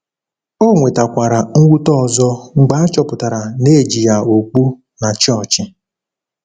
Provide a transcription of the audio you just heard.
Ọ nwetakwara mwute ọzọ mgbe a chọpụtara na e ji ya okpu na chọọchị.